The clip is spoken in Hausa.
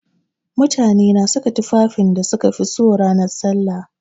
Mutane na saka tufafin da suka fi so ranan sallah.